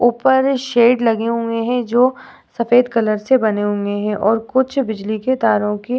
ऊपर शेड लगी हुई हैं जो सफ़ेद कलर से बनी हुई हैं और कुछ बिजली की तारों को --